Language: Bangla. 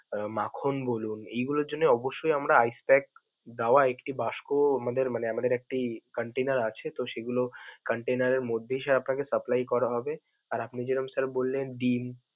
তার মাখন বলুন, এগুলোর জন্যে অবশ্যই আমরা ice pack দেওয়া একটি বাস্কো আমাদের মানে আমাদের একটি container আছে তো সেগুলো container এর মধ্যেই মধ্যেই sir আপনাকে supply করা হবে. আর যেরম sir বললেন, ডিম.